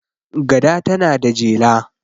gada tana da jela